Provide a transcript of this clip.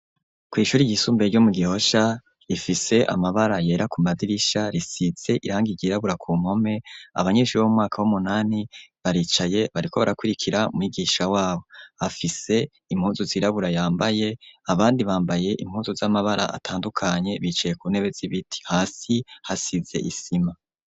Kw'ishuri ryisumbuye ryo mu Gihosha rifise amabara yera ku madirisha risize irangi ryirabura ku mpome, abanyeshuri bo mu mwaka w'umunani baricaye bariko barakurikira mwigisha wabo, afise impuzu zirabura yambaye, abandi bambaye impuzu z'amabara atandukanye bicaye ku ntebe z'ibiti, hasi hasize isima.